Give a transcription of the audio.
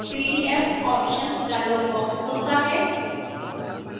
pdf options dialog box खुलता है